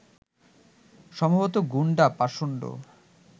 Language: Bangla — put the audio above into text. সম্ভবত গুণ্ডা, পাষণ্ড